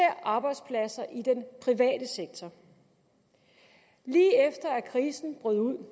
arbejdspladser i den private sektor lige efter at krisen brød ud